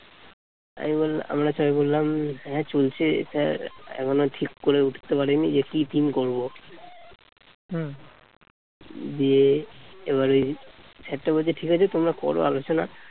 আমরা আমরা সবাই বললাম হ্যাঁ চলছে sir এখনো ঠিক করে উঠতে পারিনি যে কি theme করব দিয়ে এবারে sir টা বলছে ঠিক আছে তোমরা করো আলোচনা